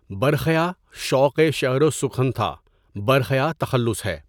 برخیاء شوقِ شعر و سخن تھا برخیاءؔ تخلص ہے.